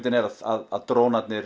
er að drónarnir